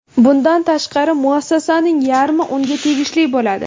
Bundan tashqari, muassasaning yarmi unga tegishli bo‘ladi.